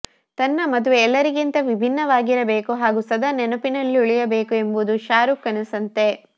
ತನ್ನ ಮದುವೆ ಎಲ್ಲರಿಗಿಂತ ವಿಭಿನ್ನವಾಗಿರಬೇಕು ಹಾಗೂ ಸದಾ ನೆನಪಿನಲ್ಲುಳಿಯಬೇಕು ಎಂಬುದು ಶಾರುಖ್ ಕನಸಂತೆ